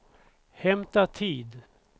hämta tid